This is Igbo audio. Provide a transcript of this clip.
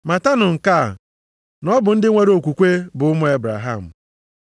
Matanụ nke a, na ọ bụ ndị nwere okwukwe bụ ụmụ Ebraham.